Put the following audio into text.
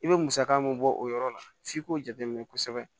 I bɛ musaka min bɔ o yɔrɔ la f'i k'o jateminɛ kosɛbɛ